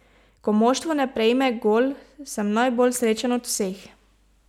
Ko moštvo ne prejme gol, sem najbolj srečen od vseh.